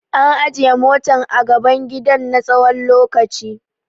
An ajiye motan ga a gaban gidan na tsawon lokaci.